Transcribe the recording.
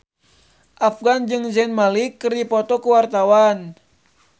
Afgan jeung Zayn Malik keur dipoto ku wartawan